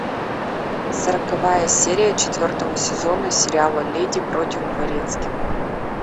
сороковая серия четвертого сезона сериала леди против дворецких